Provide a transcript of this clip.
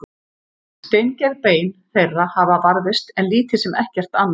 Steingerð bein þeirra hafa varðveist en lítið sem ekkert annað.